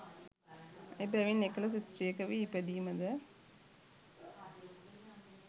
එබැවින් එකල ස්ත්‍රියක වී ඉපදීම ද